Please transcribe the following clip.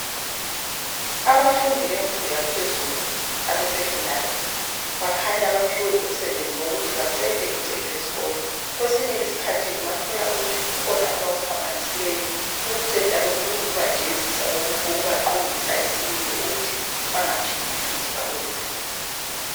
abafundi bemfundo ephezulu abasecondary bakhanya baphiwe umsebenzi yokuthi bacente igceke lesikolo, kwesinye isikhathi ungathola ukuthi kukhona abakuphambanisileyo ukucenta lokho kuyikubajezisa kokubaqondisa isimilo ukuthi bengaphindi futhi bakuyenze.